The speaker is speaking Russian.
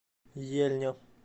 ельня